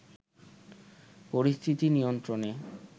পরিস্থিতি নিয়ন্ত্রণে